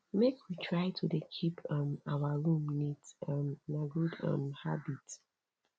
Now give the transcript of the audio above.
make we try to dey keep um our room neat um na good um habit